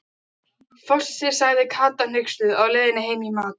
Fossi, sagði Kata hneyksluð á leiðinni heim í mat.